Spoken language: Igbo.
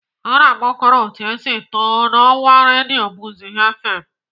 Nna m kọrọ otu o si too n'ọwa redio buzz fm.